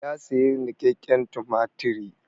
Ya sayi niƙakƙen tumatiri.